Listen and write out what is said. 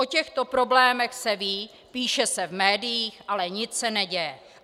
O těchto problémech se ví, píše se v médiích, ale nic se neděje.